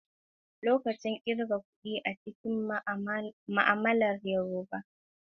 Lokacin kirga kuɗi a cikin ma'amalar Yorùbá, yi amfani da kalmomin gargajiya kamar "Mr kan."